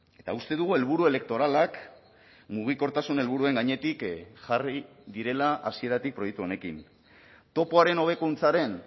eta uste dugu helburu elektoralak mugikortasun helburuen gainetik jarri direla hasieratik proiektu honekin topoaren hobekuntzaren